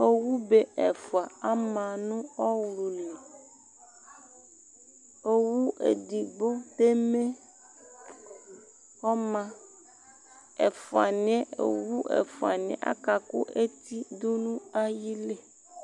Owube ɛfua ama ɲu ɔwlʊli Owu edigbo teme ɔma Owu ɛƒuaɲi akakʊ eti dʊ ɲʊ ayili